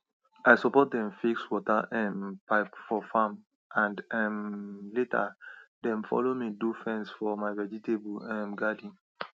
i support dem fix water um pipe for farm and um later dem follow me do fence for my vegetable um garden